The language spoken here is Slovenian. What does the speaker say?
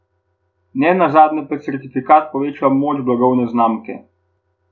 Ne nazadnje pa certifikat tudi poveča moč blagovne znamke.